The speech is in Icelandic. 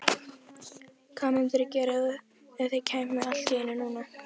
Hvað mundirðu gera ef þeir kæmu allt í einu núna?